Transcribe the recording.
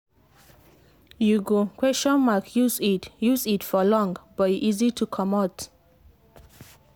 you go use iud use iud for long but e easy to comot.